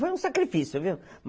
Foi um sacrifício, viu?